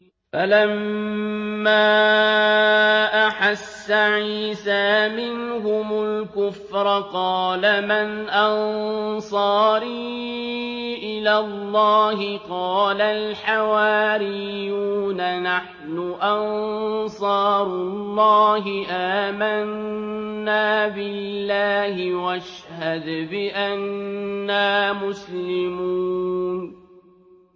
۞ فَلَمَّا أَحَسَّ عِيسَىٰ مِنْهُمُ الْكُفْرَ قَالَ مَنْ أَنصَارِي إِلَى اللَّهِ ۖ قَالَ الْحَوَارِيُّونَ نَحْنُ أَنصَارُ اللَّهِ آمَنَّا بِاللَّهِ وَاشْهَدْ بِأَنَّا مُسْلِمُونَ